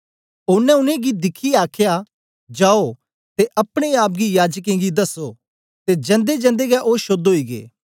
ओनें उनेंगी दिखियै आखया जाओ ते अपने आप गी याजकें गी दसो ते जंदेजंदे गै ओ शोद्ध ओई गै